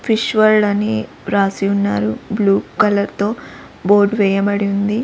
Fish world అని రాసి ఉన్నారు బ్లూ కలర్ తో బోర్డ్ వేయబడి ఉంది.